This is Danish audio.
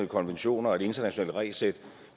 konventioner og et internationalt regelsæt